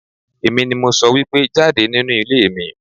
Èmi ni mo sọ wípé jáde nínú ilé mi!